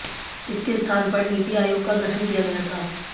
इसके स्थान पर नीति आयोग का गठन किया गया था